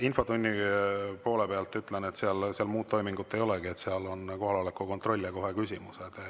Infotunni kohta ütlen, et seal muud toimingut ei olegi – seal on kohaloleku kontroll ja kohe küsimused.